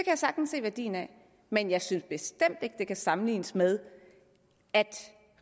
jeg sagtens se værdien af men jeg synes bestemt ikke det kan sammenlignes med at